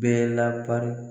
Bɛɛ lapari